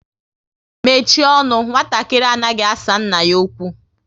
Mechie ọnụ! Nwatakịrị anaghị asa nna ya okwu